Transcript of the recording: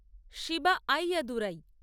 Shiba Ayyadurai